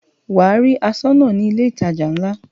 Wà á rí aṣọ́nà ní ilé ìtajà ńlá.